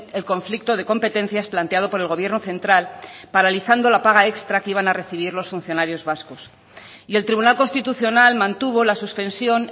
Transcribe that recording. el conflicto de competencias planteado por el gobierno central paralizando la paga extra que iban a recibir los funcionarios vascos y el tribunal constitucional mantuvo la suspensión